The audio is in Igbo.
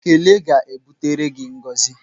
Ekele ga-ebutere gị ngọzi.